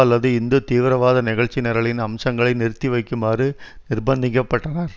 அல்லது இந்து தீவிரவாத நிகழ்ச்சி நிரலின் அம்சங்களை நிறுத்தி வைக்குமாறு நிர்ப்நிதிக்கப்பட்டனர்